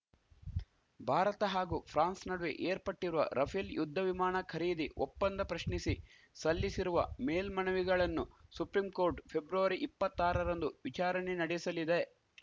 ಭಾರತ ಹಾಗೂ ಫ್ರಾನ್ಸ್‌ ನಡುವೆ ಏರ್ಪಟ್ಟಿರುವ ರಫೇಲ್‌ ಯುದ್ಧ ವಿಮಾಣ ಖರೀದಿ ಒಪ್ಪಂದ ಪ್ರಶ್ನಿಸಿ ಸಲ್ಲಿಸಿರುವ ಮೇಲ್ಮಮನವಿಗಳನ್ನು ಸುಪ್ರೀಂಕೋರ್ಟ್‌ ಫೆಬ್ರವರಿ ಇಪ್ಪತ್ತಾರಂದು ವಿಚಾರಣೆ ನಡೆಸಲಿದೆ